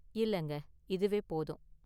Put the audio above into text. இல்லங்க, இதுவே போதும்.